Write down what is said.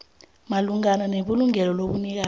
malungana nelungelo lobunikazi